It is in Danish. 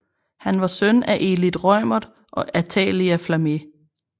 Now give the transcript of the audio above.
Han var søn af Elith Reumert og Athalia Flammé